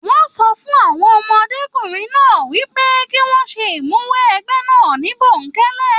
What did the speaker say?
Wọn sọ fún àwọn ọmọdékunrin náà wipe ki wọn ṣe imuwọ̀ ẹgbẹ náà ni bonkẹlẹ.